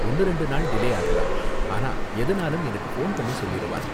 ஒன்னு ரெண்டு நாள் டிலே ஆகலாம், ஆனா எதுனாலும் எனக்கு ஃபோன் பண்ணி சொல்லிருவான்.